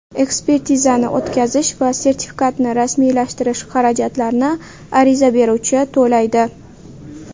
Ekspertizani o‘tkazish va sertifikatni rasmiylashtirish xarajatlarini ariza beruvchi to‘laydi.